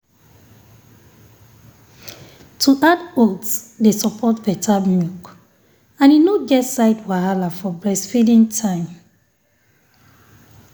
to add oats dey support better milk and e no get side wahala for breastfeeding time